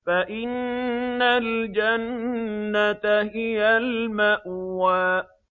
فَإِنَّ الْجَنَّةَ هِيَ الْمَأْوَىٰ